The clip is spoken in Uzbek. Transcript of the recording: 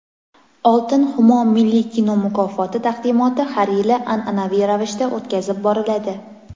"Oltin Xumo" milliy kino mukofoti taqdimoti har yili an’anaviy ravishda o‘tkazib boriladi;.